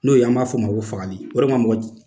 N'o ye an b'a fɔ ma ko fagali o de ka ma mɔgɔ